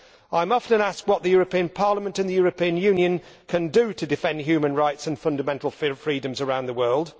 I am often asked what the European Parliament in the European Union can do to defend human rights and fundamental freedoms around the world.